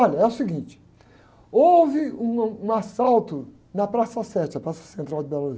Olha, é o seguinte, houve um, ãh, um assalto na Praça Sete, a Praça Central de Belo Horizonte